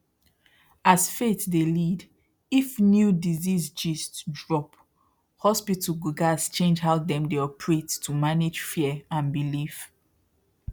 as faith dey lead if new disease gist drop hospital go gats change how dem dey operate to manage fear and belief